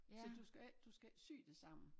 Så du skal ik du skal ik sy det sammen